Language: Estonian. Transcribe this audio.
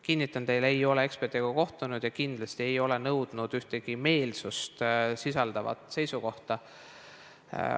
Kinnitan teile, ma ei ole eksperdiga kohtunud ja kindlasti ei ole nõudnud ühtegi meelsust sisaldavat seisukohta.